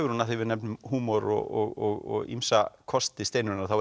hún af því við nefnum húmor og ýmsa kosti Steinunnar þá